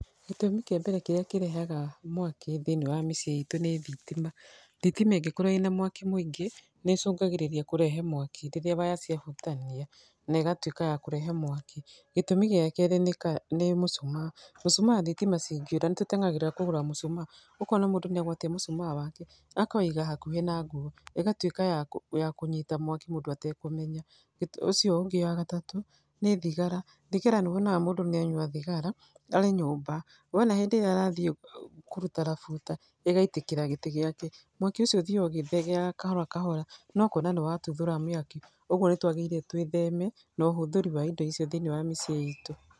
Gĩtũmi kĩa mbere kĩrĩa kĩrehaga mwaki thĩinĩ wa mĩciĩ itũ nĩ thitima. Thitima ĩngĩkorwo ĩna mwaki mũingĩ nĩ ĩcũngagĩrĩria kũrehe mwaki rĩrĩa waya ciahutania negatuĩka ya kũrehe mwaki. Gĩtũmi gĩa keerĩ nĩ mucumaa. Mũcumaa thitima cingĩũra nĩ tũteng'eragĩra kũgũra mũcumaa, ũkona mũndũ nĩ agwatia mũcumaa wake, akawĩiga hakuhĩ na nguo, ĩgatuĩka ya ya kũnyita mwaki mũndũ atakũmenya. Ũcio ũngĩ wa gatatũ nĩ thigara. Thigara nĩ ũkoraga mũndũ nĩ anyua thigara arĩ nyũmba, wona hĩndĩ ĩrĩa arathiĩ kũruta rabuta, ĩgaitĩkĩra gĩtĩ gĩake. Mwaki ũcio ũthiaga ũgĩthegeaga kahora kahora no kona nĩ watuthũra mĩaki. Koguo nĩ twagĩrĩire twĩtheme na ũhũthĩri wa indo icio thĩinĩ wa mĩciĩ itũ.